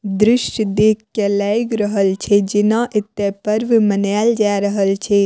दृश्य देख के लाएग रहल छै जेना एते पर्व मनाएल जा रहल छै।